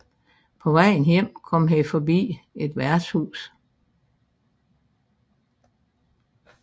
På vejen hjem kom han forbi et værtshus